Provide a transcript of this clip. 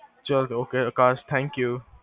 ਚਲੋ ok Akash thank you